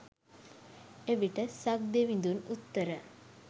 එවිට සක්දෙවිඳුන් උත්තර